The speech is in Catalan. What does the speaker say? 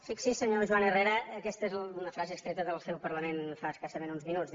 fixi s’hi senyor joan herrera aquesta és una frase extreta del seu parlament fa escassament uns minuts